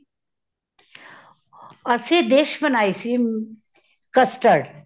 ਅਸੀ dish ਬਣਾਈ ਸੀ ਮ custard